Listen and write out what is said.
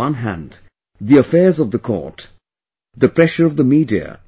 On the one hand, the affairs of the court, the pressure of the media,